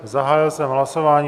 Zahájil jsem hlasování.